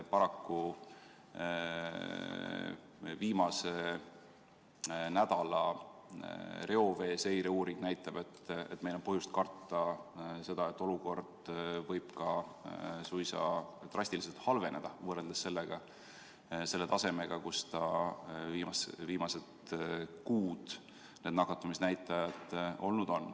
Paraku näitab viimase nädala reoveeseireuuring, et meil on põhjust karta seda, et olukord võib suisa drastiliselt halveneda, võrreldes selle tasemega, kus nakatumisnäitajad viimased kuud on olnud.